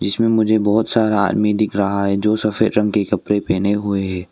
इसमें मुझे बहोत सारा आदमी दिख रहा है जो सफेद रंग के कपड़े पहने हुए हैं।